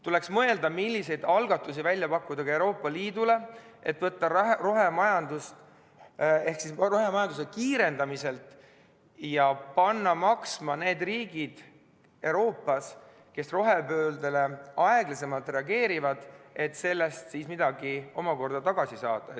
Tuleks mõelda, milliseid algatusi välja pakkuda ka Euroopa Liidule, et panna maksma need riigid Euroopas, kes rohepöördele aeglasemalt reageerivad, ja sellest midagi tagasi saada.